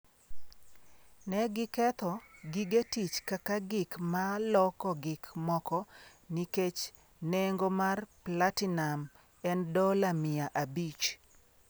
“Ne giketho, gige tich kaka gik ma loko gik moko nikech nengo mar platinum en dola mia abich.”